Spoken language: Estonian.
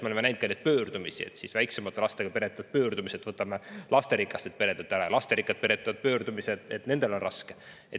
Me oleme näinud neid pöördumisi: väiksema laste pered teevad pöördumise, et võtame lasterikastelt peredelt ära, ja lasterikkad pered teevad pöördumise, et nendel on raske.